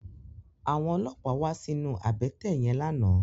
Àwòn ólópá wà sinú àbètè yèn làná